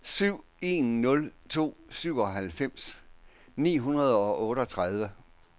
syv en nul to syvoghalvfems ni hundrede og otteogtredive